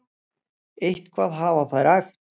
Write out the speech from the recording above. Eitthvað hafa þær æft.